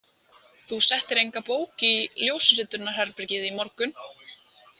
Þú settir enga bók í ljósritunarherbergið í morgun?